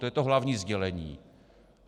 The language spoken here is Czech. To je to hlavní sdělení.